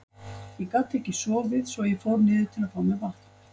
Ég gat ekki sofið svo að ég fór niður til að fá mér vatn.